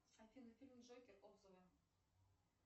афина фильм джокер отзывы